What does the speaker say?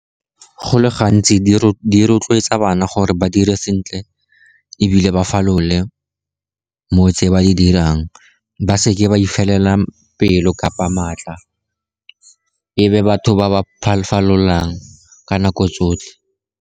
Go le gantsi di rotloetsa bana gore ba dire sentle, ebile ba falole motse ba di dirang. Ba seke ba ifelela pelo kgotsa maatla, ebe batho ba ba falolang ka nako tsotlhe.